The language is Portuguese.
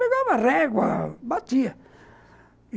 Pegava régua, batia.